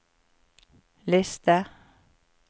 liste